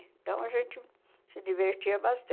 Então, a gente se divertia